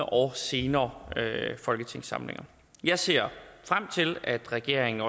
og senere folketingssamlinger jeg ser frem til at regeringen